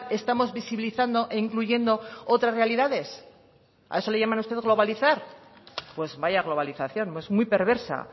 estamos visibilizando e incluyendo otras realidades a eso le llama usted globalizar pues vaya globalización es muy perversa